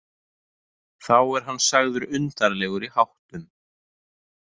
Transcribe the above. Þá er hann sagður undarlegur í háttum.